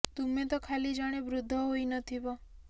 ତୁମେ ତ ଖାଲି ଜଣେ ବୃଦ୍ଧ ହୋଇ ନ ଥିବ